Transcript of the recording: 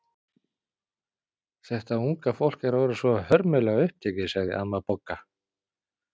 Þetta unga fólk er orðið svo hörmulega upptekið sagði amma Bogga.